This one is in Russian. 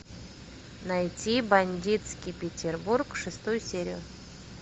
найти бандитский петербург шестую серию